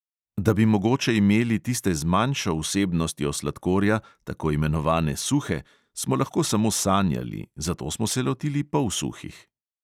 Da bi mogoče imeli tiste z manjšo vsebnostjo sladkorja, tako imenovane suhe, smo lahko samo sanjali, zato smo se lotili polsuhih.